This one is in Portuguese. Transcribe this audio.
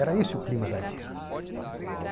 Era esse o clima da época.